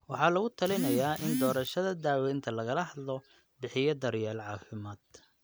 Waxaa lagu talinayaa in doorashada daawaynta lagala hadlo bixiye daryeel caafimaad.